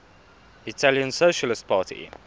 italian socialist party